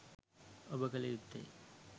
ඔබ කල යුත්තේ